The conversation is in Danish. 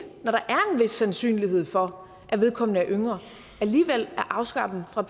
vis sandsynlighed for at vedkommende er yngre alligevel at afskære dem fra